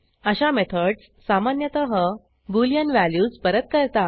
अशा मेथडस सामान्यतः Boolean values परत करतात